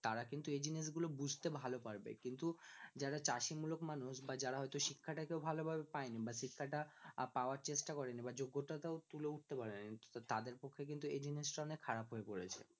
তারা কিন্তু এই জিনিস গুলো বুঝতে ভালো পারবে যারা চাষী মূলক মানুষ বা যারা হয়তো শিক্ষা টাকে ভালো ভাবে পায়নি বা শিক্ষা টা পাওয়ার চেষ্টা করেনি বা যোগ্যতা টাও তুলে উঠতে পারেনি তো তাদের কাছে কিন্তু এই জিনিসটা অনেক খারাপ হয়ে পড়েছে